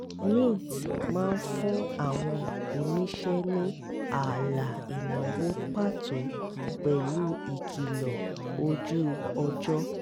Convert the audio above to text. mint máa ń fún àwọn oníṣe ní ààlà ìnáwó pàtó pẹ̀lú ìkìlọ̀ ojú-ọjọ́